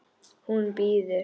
Hún bíður!